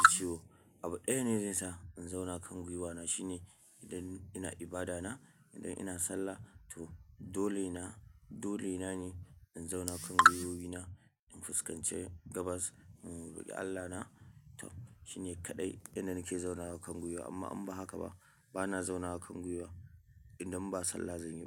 ji ciwo. Abu ɗaya ne zai sa in zauna kan gwiwana shine idan ina ibada na, idan ina sallah to dole na, dole na ne in zauna kan gwiwoyi na in fuskance gabas, in roki Allah na. To shi ne kaɗai inda nake zaunawa kan gwiwa amma in ba haka ba. Bana zauna kan gwiwa idan ba sallah zan yi ba.